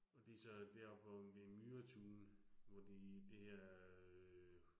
Og de så deroppe, hvor ved Myretuen, hvor de det her øh